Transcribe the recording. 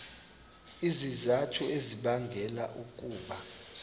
izizathu ezibangela ukuba